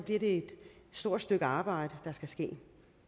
det et stort stykke arbejde der skal ske